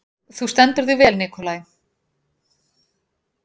Þú stendur þig vel, Nikolai!